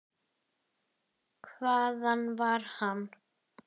Hvaðan var hann?